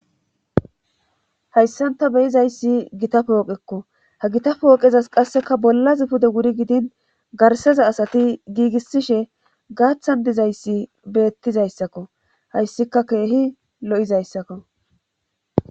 hayssan ta beyizayssi gita pooqekko ha gita pooqezas qasseka bolla zipude wuri gidin garseza asati giigissishe gaaththan dizayssi beettizayssakko hayssika keehi lo7izayssakko